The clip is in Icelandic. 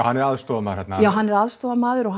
hann er aðstoðarmaður þarna já hann er aðstoðarmaður og